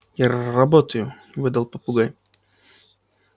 я р-работаю выдал попугай